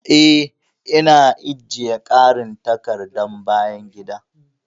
Ee, Ina ajiye ƙarin takardar bayan gida.